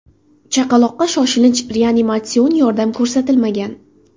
Chaqaloqqa shoshilinch reanimatsion yordam ko‘rsatilmagan.